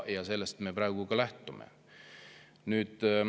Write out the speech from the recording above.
Sellest me praegu ka lähtume.